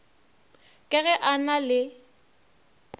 ka ge a na le